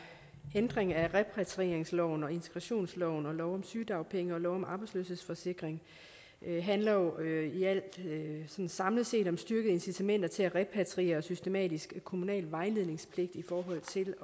ændring af repatrieringsloven og integrationsloven og lov om sygedagpenge og lov om arbejdsløshedsforsikring handler jo samlet set om at styrke incitamenter til repatriering og systematisk kommunal vejledningspligt i forhold til